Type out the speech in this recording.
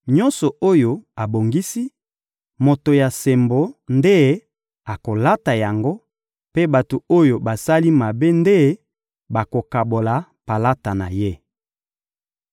nyonso oyo abongisi, moto ya sembo nde akolata yango, mpe bato oyo basali mabe te nde bakokabola palata na ye.